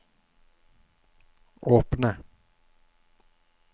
åpne